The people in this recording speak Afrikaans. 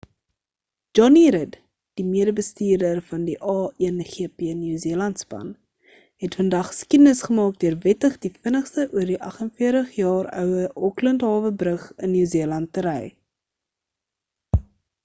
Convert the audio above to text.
jonny rid die mede bestuurder van die a1gp new zealand span het vandag geskiedenis gemaak deur wettig die vinnigste oor die 48 jaar oue auckland hawe brug in new zealand te ry